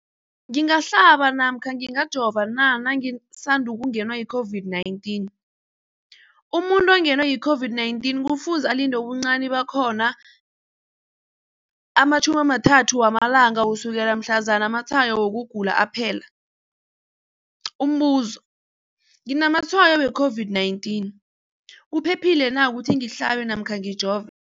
Umbuzo, ngingahlaba namkha ngingajova na nangisandu kungenwa yi-COVID-19? Umuntu ongenwe yi-COVID-19 kufuze alinde ubuncani bakhona ama-30 wama langa ukusukela mhlazana amatshayo wokugula aphela. Umbuzo, nginamatshayo we-COVID-19, kuphephile na ukuthi ngihlabe namkha ngijove?